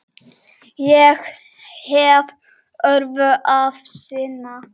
Ég hef öðru að sinna.